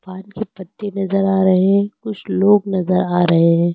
पान के पत्ते नजर आ रहे है कुछ लोग नजर आ रहे है।